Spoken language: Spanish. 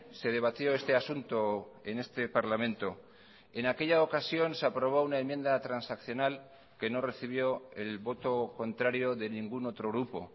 se debatió este asunto en este parlamento en aquella ocasión se aprobó una enmienda transaccional que no recibió el voto contrario de ningún otro grupo